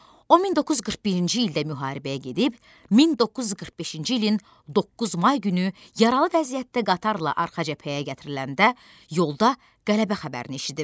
O 1941-ci ildə müharibəyə gedib, 1945-ci ilin 9 may günü yaralı vəziyyətdə qatarla arxa cəbhəyə gətiriləndə yolda qələbə xəbərini eşidib.